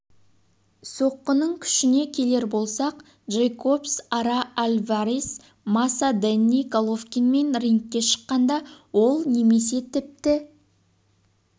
соққының күшіне келер болсақ джейкобс ара альварес маса дэнни головкинмен рингке шыққанда ол немесе тіпті